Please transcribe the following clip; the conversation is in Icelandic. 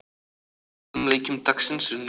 Báðum leikjum dagsins er nú lokið.